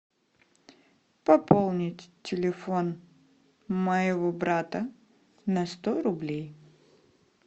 пополнить телефон моего брата на сто рублей